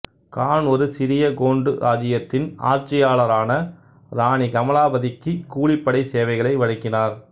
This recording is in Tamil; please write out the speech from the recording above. கான் ஒரு சிறிய கோண்டு இராச்சியத்தின் ஆட்சியாளரான இராணி கமலாபதிக்கு கூலிப்படை சேவைகளை வழங்கினார்